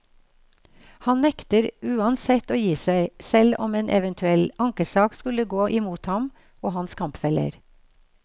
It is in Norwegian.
Han nekter uansett å gi seg, selv om en eventuell ankesak skulle gå imot ham og hans kampfeller.